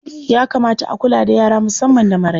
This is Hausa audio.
Ya kamata a kula da yara musamman da maraice.